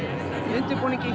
undirbúninginn